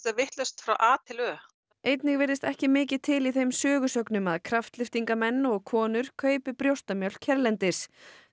vitlaust frá a til ö einnig virðist ekki mikið til í þeim sögusögnum að kraftlyftingarmenn og konur kaupi brjóstamjólk hérlendis